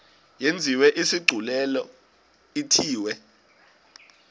yenziwe isigculelo ithiwe